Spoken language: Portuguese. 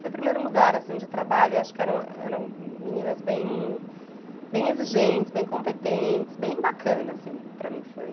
Foi o primeiro lugar assim de trabalho e acho que eram eram meninas bem bem exigentes, bem competentes, bem bacanas, assim, para mim foi...